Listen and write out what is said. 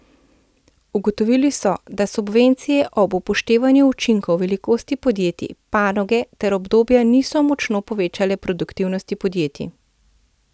Ugotovili so, da subvencije ob upoštevanju učinkov velikosti podjetij, panoge ter obdobja niso močno povečale produktivnosti podjetij.